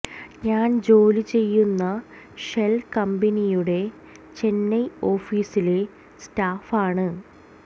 ഞാൻ ജോലി ചെയ്യുന്ന ഷെൽ കമ്പനിയുടെ ചെന്നൈ ഓഫീസിലെ സ്റ്റാഫ് ആണ്